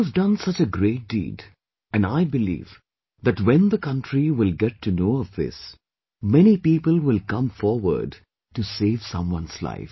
You have done such a great deed and I believe that when the country will get to know of all this, many people will come forward to save someone's life